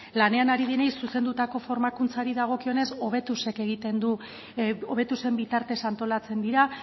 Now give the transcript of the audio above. lanean ari direnei zuzendutako formakuntzari dagokionez hobetuzen bitartez antolatzen dira